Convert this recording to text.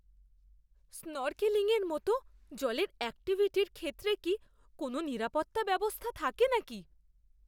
স্নরকেলিংয়ের মতো জলের অ্যাক্টিভিটির ক্ষেত্রে কি কোনও নিরাপত্তা ব্যবস্থা থাকে নাকি!